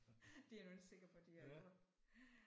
Det er jeg nu ikke sikker på de har gjort